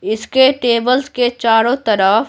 इसके टेबल्स के चारों तरफ--